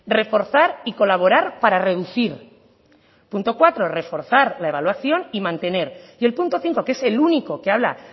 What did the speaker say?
reforzar y colaborar para reducir punto cuatro reforzar la evaluación y mantener y el punto cinco que es el único que habla